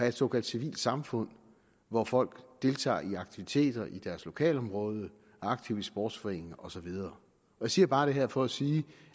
et såkaldt civilt samfund hvor folk deltager i aktiviteter i deres lokalområde er aktive i sportsforeninger og så videre jeg siger bare det her for at sige